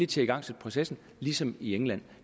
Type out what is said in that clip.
til at igangsætte processen ligesom i england